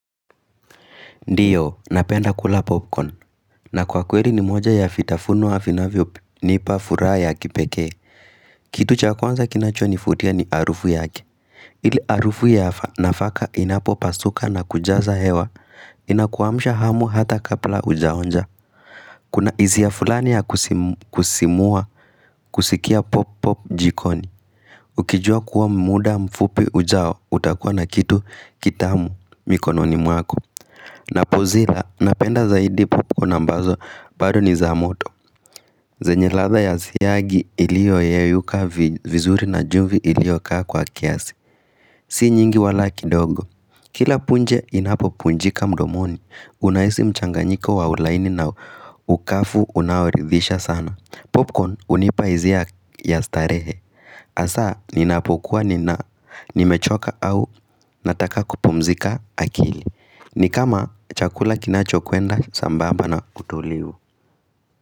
Ndio, napenda kula popcorn. Na kwa kweli ni moja ya vitafuno vinavyo, nipa furaha ya kipekee. Kitu cha kwanza kinacho nivutia ni harufu yake. Ile harufu ya nafaka inapopasuka na kujaza hewa. Inakuamsha hamu hata kabla hujaonja. Kuna hisia fulani ya kusisimua, kusikia pop pop jikoni. Ukijua kuwa muda mfupi ujao, utakuwa na kitu kitamu mikononi mwako. Na pozila, napenda zaidi popcorn ambazo baro ni za moto zenye latha ya siyagi ilio yeyuka vizuri na jumbi ilio kaa kwa kiasi Si nyingi wala kidogo Kila punje inapo punjika mdomoni Unaisi mchanganyiko wa ulaini na ukafu unaoridhisha sana Popcorn unipa izia ya starehe Asa, ninapokuwa nina, nimechoka au nataka kupumzika akili ni kama chakula kinacho kwenda sambaba na utulivu.